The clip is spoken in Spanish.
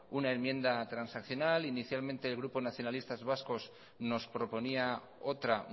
una enmienda transaccional inicialmente el grupo nacionalistas vascos nos proponía otra